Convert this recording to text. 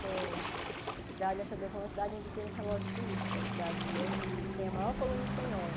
Que é a cidade de La Chaux-de-Fonds, a cidade onde tem os relógios suíços, que é a cidade onde tem a maior colônia espanhola.